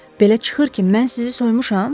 Belə çıxır ki, mən sizi soymuşam?